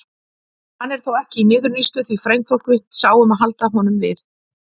Hann er þó ekki í niðurníðslu því frændfólk mitt sá um að halda honum við.